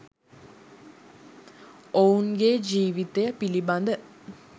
ඔවුන්ගේ ජීවිතය පිළිබඳ